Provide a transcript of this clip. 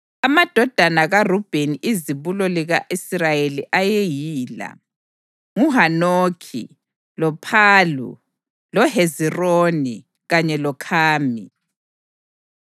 Amadodana kaRubheni izibulo lika-Israyeli ayeyila: nguHanokhi, loPhalu, loHezironi kanye loKhami.